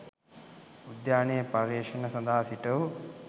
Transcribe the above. උද්‍යානයේ පර්යේෂණ සඳහා සිටවූ